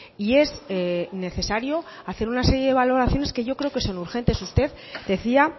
y es necesario hacer una serie de valoraciones que yo creo que son urgentes usted decía